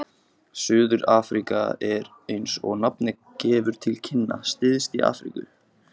Suður-Afríka er, eins og nafnið gefur til kynna, syðst í Afríku.